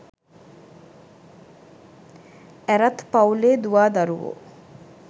ඇරත් පවුලේ දුවා දරුවෝ